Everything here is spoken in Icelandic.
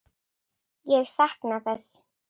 Ég sakna þess.